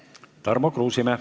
Tarmo Kruusimäe.